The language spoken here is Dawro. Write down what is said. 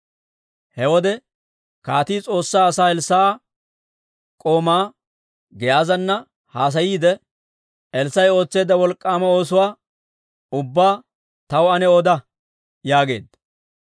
He wode kaatii S'oossaa asaa Elssaa'a k'oomaa Giyaazana haasayiidde, «Elssaa'i ootseedda wolk'k'aama oosuwaa ubbaa taw ane oda» yaageedda.